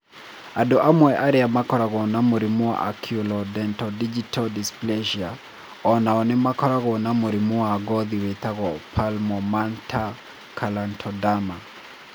Andũ amwe arĩa makoragwo na mũrimũ wa oculodentodigital dysplasia o nao nĩ makoragwo na mũrimũ wa ngothi wĩtagwo palmoplantar keratoderma.